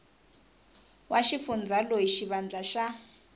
wa xifundza loyi xivandla xa